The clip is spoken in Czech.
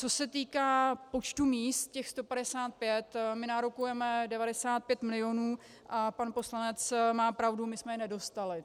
Co se týká počtu míst, těch 155 - my nárokujeme 95 milionů a pan poslanec má pravdu, my jsme je nedostali.